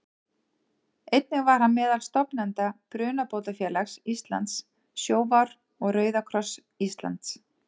Einnig var hann meðal stofnenda Brunabótafélags Íslands, Sjóvár og Rauða kross Íslands.